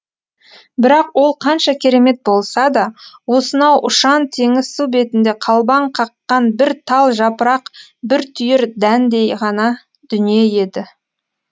бірақ ол қанша керемет болса да осынау ұшан теңіз су бетінде қалбаң қаққан бір тал жапырақ бір түйір дәндей ғана дүние еді